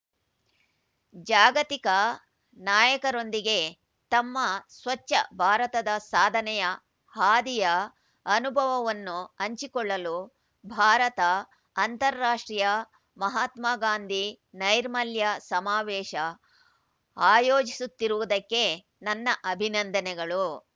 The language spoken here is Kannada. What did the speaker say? ಜಾಗತಿಕ ನಾಯಕರೊಂದಿಗೆ ತಮ್ಮ ಸ್ವಚ್ಛ ಭಾರತದ ಸಾಧನೆಯ ಹಾದಿಯ ಅನುಭವವನ್ನು ಹಂಚಿಕೊಳ್ಳಲು ಭಾರತ ಅಂತಾರಾಷ್ಟ್ರೀಯ ಮಹಾತ್ಮ ಗಾಂಧಿ ನೈರ್ಮಲ್ಯ ಸಮಾವೇಶ ಆಯೋಜಿಸುತ್ತಿರುವುದಕ್ಕೆ ನನ್ನ ಅಭಿನಂದನೆಗಳು